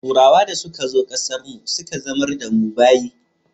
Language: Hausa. Turawa da suka zo ƙasar mu suka zama da mu bayi